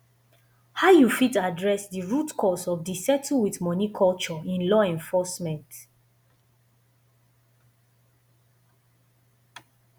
how you fit adress di root cause of di settle with money culture in law enforcement